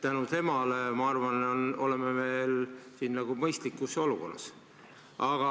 Tänu temale, ma arvan, oleme me siin mõistlikus olukorras.